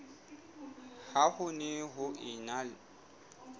ha ho ne ho ena